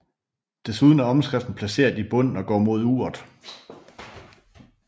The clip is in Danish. Desuden er omskriften placeret i bunden og går mod uret